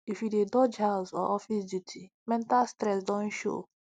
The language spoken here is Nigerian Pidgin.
if you dey dodge house or office duty mental stress don show